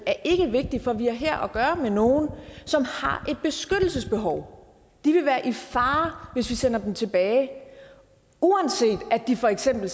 ikke er vigtig fordi vi her har at gøre med nogle som har et beskyttelsesbehov de vil være i fare hvis vi sender dem tilbage uanset at de for eksempel